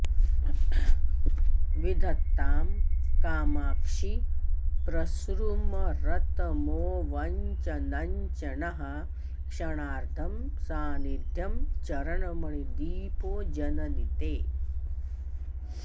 विधत्तां कामाक्षि प्रसृमरतमोवञ्चनचणः क्षणार्धं सान्निध्यं चरणमणिदीपो जननि ते